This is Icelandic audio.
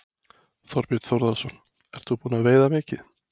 Þorbjörn Þórðarson: Ert þú búin að veiða mikið?